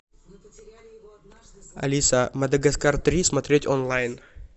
алиса мадагаскар три смотреть онлайн